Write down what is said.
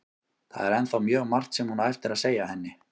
Það er ennþá mjög margt sem hún á eftir að segja henni.